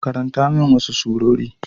Karanta min wasu surori.